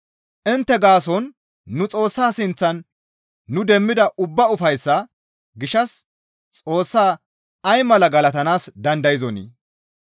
Intte gaason nu Xoossa sinththan nu demmida ubba ufayssaa gishshas Xoossa ay mala galatanaas dandayzonii?